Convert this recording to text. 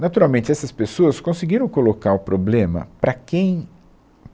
Naturalmente, essas pessoas conseguiram colocar um problema para quem